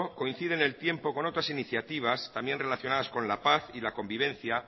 coincide en el tiempo con otras iniciativas también relacionadas con la paz y la convivencia